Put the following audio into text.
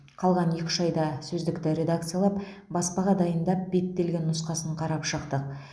қалған екі үш айда сөздікті редакциялап баспаға дайындап беттелген нұсқасын қарап шықтық